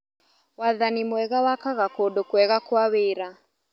Wathani mwega wakaga kũndũ kwega kwa wĩra.